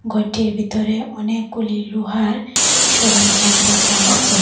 ঘরটির ভিতরে অনেকগুলি লুহার সরঞ্জাম রাখা আছে।